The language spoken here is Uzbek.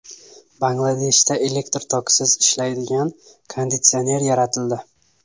Bangladeshda elektr tokisiz ishlaydigan konditsioner yaratildi .